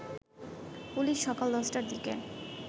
police সকাল ১০টার দিকে